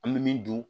An bɛ min dun